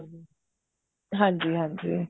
ਹਾਂਜੀ ਹਾਂਜੀ